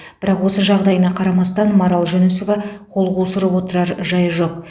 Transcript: бірақ осы жағдайына қарамастан марал жүнісова қол қусырып отырар жайы жоқ